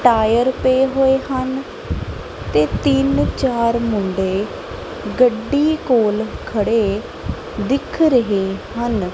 Tyre ਪਏ ਹੋਏ ਹਨ ਤੇ ਤਿੰਨ ਚਾਰ ਮੁੰਡੇ ਗੱਡੀ ਕੋਲ ਖੜੇ ਦਿਖ ਰਹੇ ਹਨ।